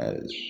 Ayi